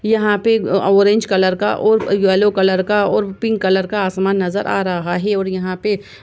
यहाँ पे अ ऑरेंज कलर का और यैलो कलर और पिंक कलर का आसमान नज़र आ रहा है और यहाँ पे --